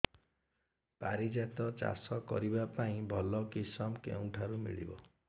ପାରିଜାତ ଚାଷ କରିବା ପାଇଁ ଭଲ କିଶମ କେଉଁଠାରୁ ମିଳିବ